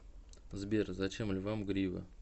сбер зачем львам грива